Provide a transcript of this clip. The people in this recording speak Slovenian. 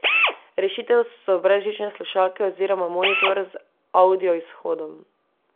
Rešitev so brezžične slušalke oziroma monitor z avdioizhodom.